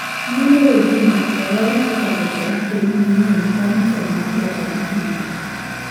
Moluor oginga owal kaka jatend piny manyien bang` tho mar jatend piny no